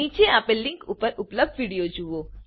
નીચે આપેલ લીંક ઉપર ઉપલબ્ધ વિડીયો જુઓ